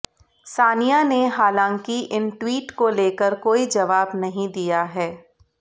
सानिया ने हालांकि इन ट्वीट को लेकर कोई जवाब नहीं दिया है